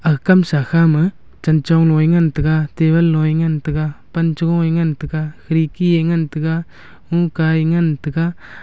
aga kamsa kha ma chen chong low a ngan tega table law a ngan tega pan cha gung e ngan tega khirki a ngan tega lungka e ngan tega.